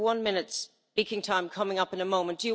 You have one minute's speaking time coming up in a moment.